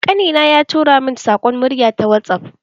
Ƙani na ya tura min saƙon murya ta whatsaff